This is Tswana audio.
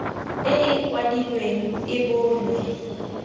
e e kwadilweng e bonwe